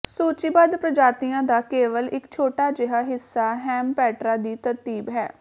ਸੂਚੀਬੱਧ ਪ੍ਰਜਾਤੀਆਂ ਦਾ ਕੇਵਲ ਇਕ ਛੋਟਾ ਜਿਹਾ ਹਿੱਸਾ ਹੇਮਪੇਟਰਾ ਦੀ ਤਰਤੀਬ ਹੈ